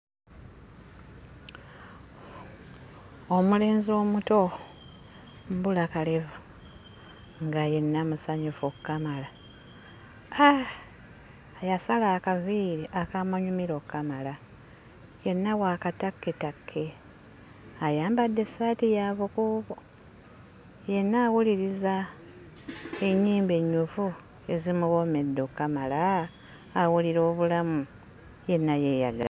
Omulenzi omuto mbulakalevu nga yenna musanyufu okkamala, haa yasala akaviiri akaamunyumira okkamala yenna wa katakketakke, ayambadde essaati ya bukuubo yenna awuliriza ennyimba ennyuvu ezimuwoomedde okkamala. Awulira obulamu yenna yeeyagala.